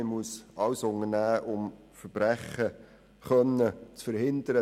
Man muss alles daran setzen, Verbrechen zu verhindern.